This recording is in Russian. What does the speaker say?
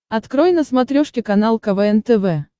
открой на смотрешке канал квн тв